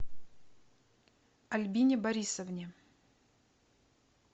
альбине борисовне